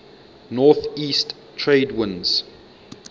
northeast trade winds